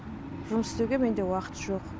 жұмыс істеуге менде уақыт жоқ